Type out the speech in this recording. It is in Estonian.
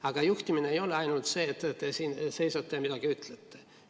" Aga juhtimine ei ole ainult see, et te siin seisate ja midagi ütlete.